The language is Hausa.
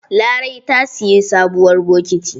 Larai ta siyi sabuwar bokiti.